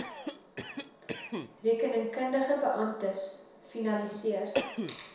rekeningkundige beamptes finaliseer